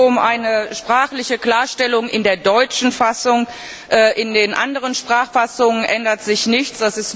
Es geht hier nur um eine sprachliche Klarstellung in der deutschen Fassung. In den anderen Sprachfassungen ändert sich nichts.